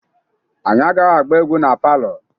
Anyị agaghị agba egwu na palọ.